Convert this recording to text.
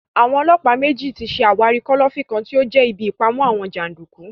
Àwọn ọlọ́pàá méjì tí ṣe àwárí kọ́lọ́fín kan tí ó jẹ́ ibí ìpamọ àwọn jàndùkú